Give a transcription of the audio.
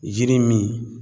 Yiri min